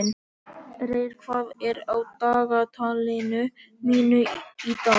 Reyr, hvað er á dagatalinu mínu í dag?